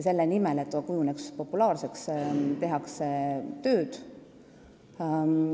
Selle nimel, et aktsia kujuneks populaarseks, tehakse tööd.